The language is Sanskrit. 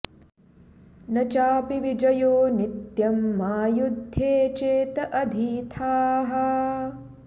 न चापि विजयो नित्यं मा युद्धे चेत आधिथाः